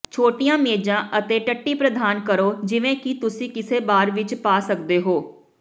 ਛੋਟੀਆਂ ਮੇਜ਼ਾਂ ਅਤੇ ਟੱਟੀ ਪ੍ਰਦਾਨ ਕਰੋ ਜਿਵੇਂ ਕਿ ਤੁਸੀਂ ਕਿਸੇ ਬਾਰ ਵਿੱਚ ਪਾ ਸਕਦੇ ਹੋ